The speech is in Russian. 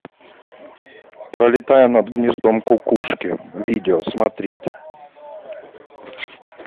пролетая над гнездом кукушки видео смотреть